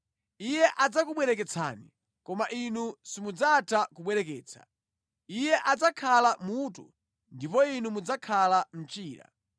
Iye adzakubwereketsani, koma inu simudzatha kubwereketsa. Iye adzakhala mutu ndipo inu mudzakhala mchira.